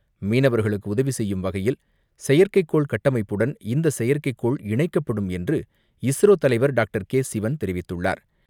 மீனவர்களுக்கு உதவி செய்யும் வகையில், செயற்கைக்கோள் கட்டமைப்புடன், இந்த செயற்கைக்கோள் இணைக்கப்படும் என்று இஸ்ரோ தலைவர் டாக்டர் கே சிவன் தெரிவித்துள்ளார்.